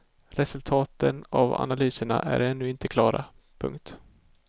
Resultaten av analyserna är ännu inte klara. punkt